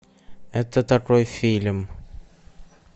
это такой фильм